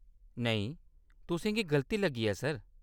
नेईं, तुसें गी गलती लग्गी ऐ, सर।